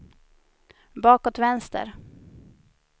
bakåt vänster